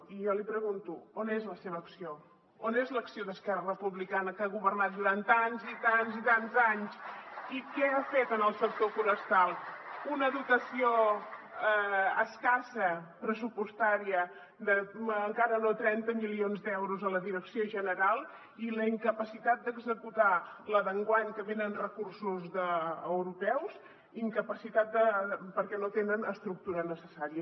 i jo li pregunto on és la seva acció on és l’acció d’esquerra republicana que ha governat durant tants i tants i tants anys i què ha fet en el sector forestal una dotació escassa pressupostària d’encara no trenta milions d’euros a la direcció general i la incapacitat d’executar la d’enguany que venen recursos europeus perquè no tenen estructura necessària